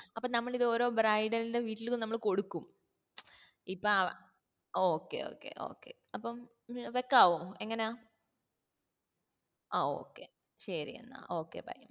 അപ്പം നമ്മൾ ഇത് ഓരോ bridal ന്റെ വീട്ടിൽ ഇത് നമ്മൾ kodkum മ്‌ചം ഇപ്പാ okay okay okay അപ്പം വെക്കാവോ എങ്ങനെയാ